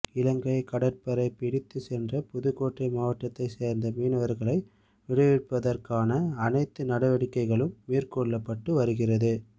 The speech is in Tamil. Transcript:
இலங்கை கடற்படை பிடித்துச் சென்ற புதுக்கோட்டை மாவட்டத்தைச் சேர்ந்த மீனவர்களை விடுவிப்பதற்கான அனைத்து நடவடிக்கைகளும் மேற்கொள்ளப்பட்டு வருகிறது